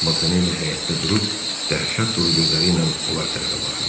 Montanelli həyətdə durub dəhşət dolu gözləri ilə onlar tərəfə baxırdı.